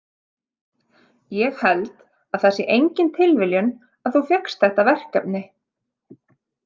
Ég held að það sé engin tilviljun að þú fékkst þetta verkefni.